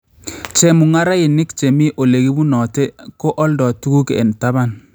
Chemung'arainik chemii olekibunote ko aldoo tuguk en taban